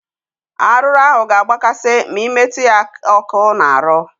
Arụrụ ahụ ga agba kasị ma ị metụ ha ọkụ na arụ